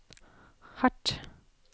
hardt